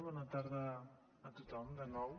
bona tarda a tothom de nou